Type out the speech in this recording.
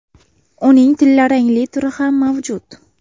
Uning tillarangli turi ham mavjud.